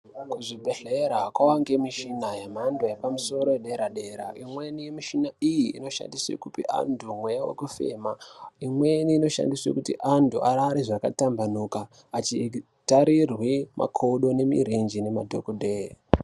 Kuzvibhedhlera kwava ngemichina yemhando yepamusoro yedera dera. Imweni mishina iyi inoshandiswe kupe antu mweya wekufema. Imweni inoshandiswe kuti antu arare zvakatambanuka achitarirwe makodo nemirenje nemadhokodheye.